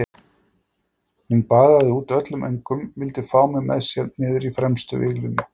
Hún baðaði út öllum öngum, vildi fá mig með sér niður í fremstu víglínu.